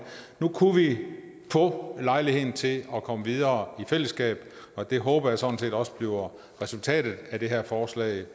nu kunne vi få lejlighed til at komme videre i fællesskab og det håber jeg sådan set også bliver resultatet af det her forslag